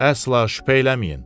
Əsla şübhə eləməyin.